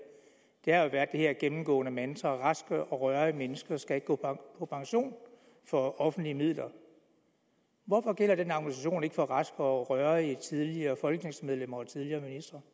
har jo været det her gennemgående mantra raske og rørige mennesker skal ikke gå på pension for offentlige midler hvorfor gælder den argumentation ikke for raske og rørige tidligere folketingsmedlemmer og tidligere